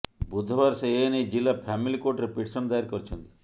ବୁଧବାର ସେ ଏନେଇ ଜିଲ୍ଲା ଫ୍ୟାମିଲି କୋର୍ଟରେ ପିଟିସନ୍ ଦାଏର କରିଛନ୍ତି